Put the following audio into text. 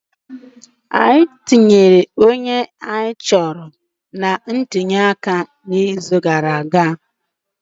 Anyị tụnyere onye nhọpụta anyị chọrọ na ntuliaka ikpeazụ